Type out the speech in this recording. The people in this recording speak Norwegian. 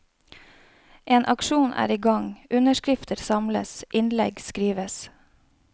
En aksjon er i gang, underskrifter samles, innlegg skrives.